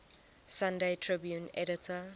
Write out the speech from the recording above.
sunday tribune editor